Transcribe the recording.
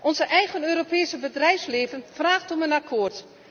Ons eigen Europese bedrijfsleven vraagt om een akkoord.